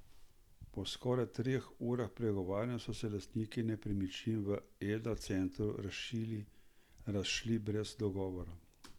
Po skoraj treh urah pregovarjanja so se lastniki nepremičnin v Eda centru razšli brez dogovora.